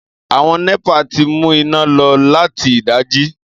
Àwon népà ti mú iná lo láti ìdájí